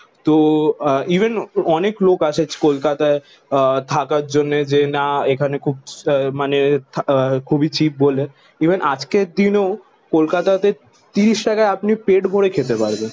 তো আহ ইভেন অনেক লোক আসে কলকাতায় আহ থাকার জন্য। যে না এখানে খুব মানে আহ খুবই চিপ বলে। ইভেন আজকের দিনেও কলকাতাতে তিরিশ টাকায় আপনি পেট ভরে খেতে পারবেন।